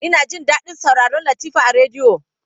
Ina jin daɗin sauraron Latifa a rediyo.